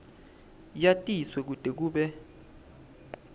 yatiswe kute kube